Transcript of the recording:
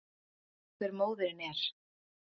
Ekki er vitað hver móðirin er